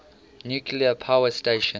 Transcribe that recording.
nuclear power station